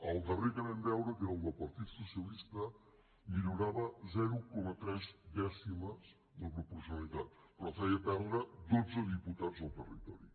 el darrer que vam veure que era el del partit socialista millorava zero coma tres dècimes la proporcionalitat però feia perdre dotze diputats al territori